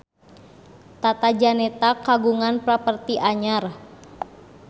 Tata Janeta kagungan properti anyar